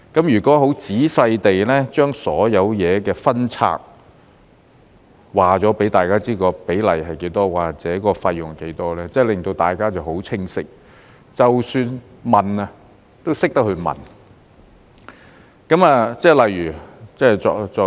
如果仔細地把所有事情分拆，告訴大家有關比例多少或者費用多少，便會令大家都很清晰，即使要問，也懂得如何問。